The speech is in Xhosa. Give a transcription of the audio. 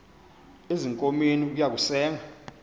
ezinkomeni ukuya kusenga